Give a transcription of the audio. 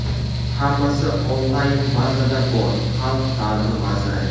hammasi onlayn bazada bor — xalq ta’limi vaziri.